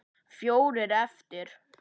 Fjórar eftir.